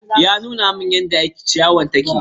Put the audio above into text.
Ya nuna min yadda ciyawar take.